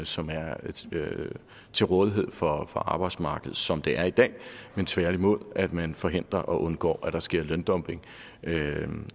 som er til rådighed for arbejdsmarkedet som det er i dag tværtimod at man forhindrer og undgår at der sker løndumping